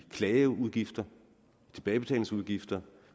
af klageudgifter tilbagebetalingsudgifter